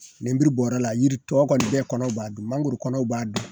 Lemuru bɔr'a la yiri tɔw kɔni bɛɛ kɔnɔw b'a dun mangoro kɔnɔw b'a dun